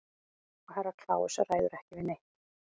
Og Herra Kláus ræður ekki við neitt.